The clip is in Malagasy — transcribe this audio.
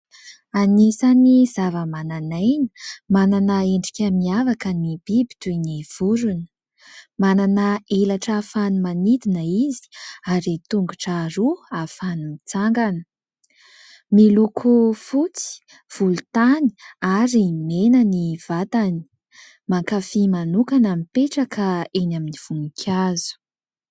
Anisan'ny zava-mananaina, manana endrika miavaka ny biby toy ny vorona. Manana elatra ahafahany manidina izy ary tongotra roa ahafahany mitsangana. Miloko fotsy, volontany ary mena ny vatany. Mankafy manokana mipetra ka eny amin'ny voninkazo.